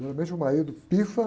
Normalmente o marido pifa.